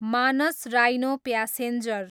Manas rhino passenger